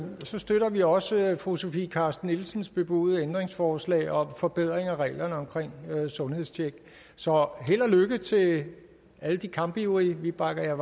så støtter vi også fru sofie carsten nielsens bebudede ændringsforslag om forbedring af reglerne for sundhedstjek så held og lykke til alle de kampivrige vi bakker